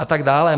A tak dále.